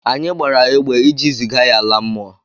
Anyi gbara egbe iji ziga ya ala mmụọ.